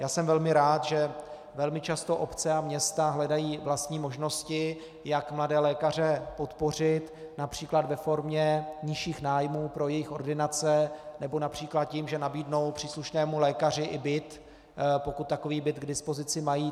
Já jsem velmi rád, že velmi často obce a města hledají vlastní možnosti, jak mladé lékaře podpořit například ve formě nižších nájmů pro jejich ordinace nebo například tím, že nabídnou příslušnému lékaři i byt, pokud takový byt k dispozici mají.